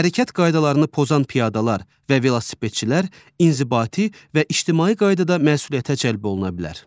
Hərəkət qaydalarını pozan piyadalar və velosipedçilər inzibati və ictimai qaydada məsuliyyətə cəlb oluna bilər.